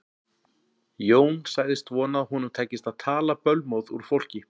Jón sagðist vona að honum tækist að tala bölmóð úr fólki.